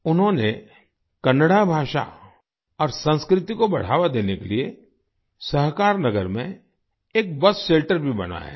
उन्होंने कन्नड़ा भाषा और संस्कृति को बढ़ावा देने के लिए सहकारनगर में एक बस शेल्टर भी बनाया है